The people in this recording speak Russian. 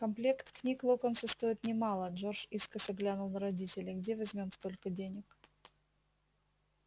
комплект книг локонса стоит немало джордж искоса глянул на родителей где возьмём столько денег